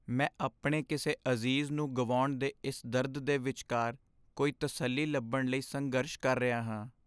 ਮੈਂ ਆਪਣੇ ਕਿਸੇ ਅਜ਼ੀਜ਼ ਨੂੰ ਗੁਆਉਣ ਦੇ ਇਸ ਦਰਦ ਦੇ ਵਿਚਕਾਰ ਕੋਈ ਤਸੱਲੀ ਲੱਭਣ ਲਈ ਸੰਘਰਸ਼ ਕਰ ਰਿਹਾ ਹਾਂ।